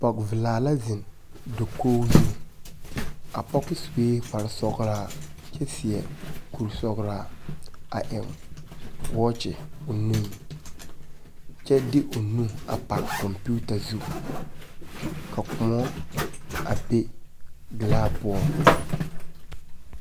Pͻge velasa zeŋe dakogi zu. A pͻge sue kpaare sͻgelaa kyԑ seԑ kuri sͻgelaa. A eŋ wͻͻkye o nuŋ, kyԑ de o nu a pare kͻmpiita zu. Ka kõͻ a be gelaa poͻŋ.